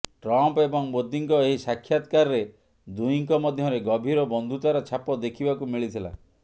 Trump ଏବଂ ମୋଦିଙ୍କ ଏହି ସାକ୍ଷାତକାରରେ ଦୁହିଁଙ୍କ ମଧ୍ୟରେ ଗଭୀର ବନ୍ଧୁତାର ଛାପ ଦେଖିବାକୁ ମିଳିଥିଲା